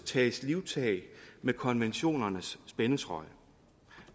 tages livtag med konventionernes spændetrøje